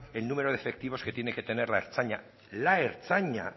el número de efectivos que tiene que tener la ertzaintza la ertzaintza